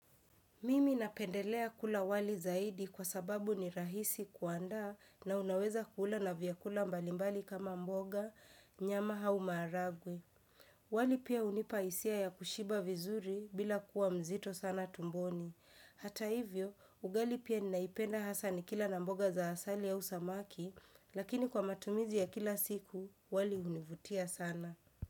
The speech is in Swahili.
Mimi napendelea kula wali zaidi kwa sababu ni rahisi kuandaa, na unaweza kuula na vyakula mbalimbali kama mboga, nyama au maharagwe. Wali pia hunipa hisia ya kushiba vizuri bila kuwa mzito sana tumboni. Hata hivyo, ugali pia ninaipenda hasa nikila na mboga za asali au samaki, lakini kwa matumizi ya kila siku, wali hunivutia sana.